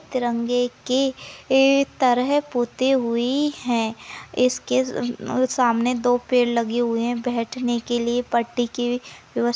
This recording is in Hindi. तिरंगे के तरह पुते हुई है इसके अ सामने दो पेड़ लगी हुए है बैठने के लिए पट्टी की व्यवस--